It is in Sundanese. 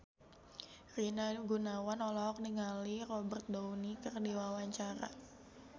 Rina Gunawan olohok ningali Robert Downey keur diwawancara